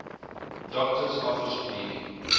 doctor's office bleeding